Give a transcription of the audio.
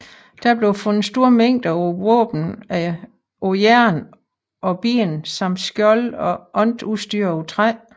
Der blev fundet store mængder af våben af jern og ben samt skjolde og andet udstyr af træ